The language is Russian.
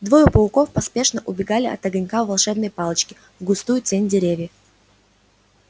двое пауков поспешно убегали от огонька волшебной палочки в густую тень деревьев